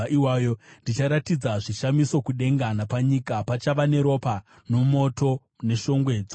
Ndicharatidza zvishamiso kudenga napanyika, ropa nomoto neshongwe dzoutsi.